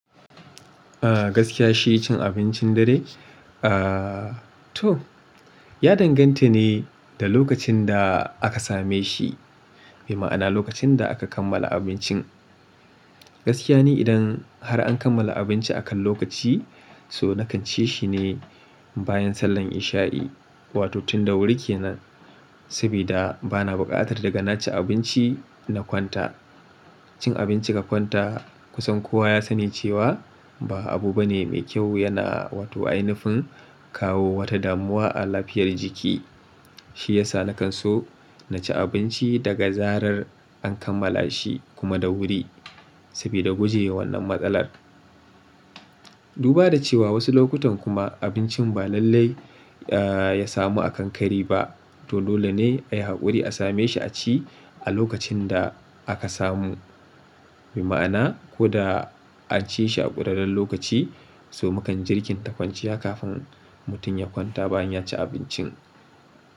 Ah gaskiya shi cin abincin dare ah to ya danganta ne da lokacin da aka same shi. Mai ma'ana lokacin da aka kammala abincin. Gaskiya ne idan har an kammala abinci akan lokaci, so na kan ci shi ne bayan sallar isha'i, wato tun da wuri ke nan. Sabida ba na buƙatar daga na ci abinci na kwanta. Cin abinci ka kwanta kusan kowa ya sani cewa ba abu bane mai kyau yana wato ainifin kawo wata damuwa a lafiyar jiki. Shi yasa na kan so na ci abinci daga zarar an kammala shi kuma da wuri, sabida guje wa wannan matsalar. Duba da cewa wasu lokutan kuma abincin ba lallai ya samu a kankari ba, to dole ne ayi haƙuri a same shi a ci a lokacin da aka samu. Mai ma'ana ko da an ci shi a ƙudaden lokaci, so mu kan jirkin tafaciya kafin mutum ya kwanta bayan ya ci abincin.